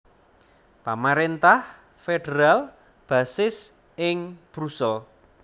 Pemerintah federal basis ing Brusel